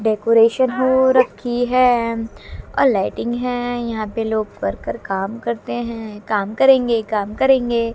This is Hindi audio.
डेकोरेशन हो रखी है और लाइटिंग है यहां पे लोग वर्कर काम करते हैं काम करेंगे काम करेंगे--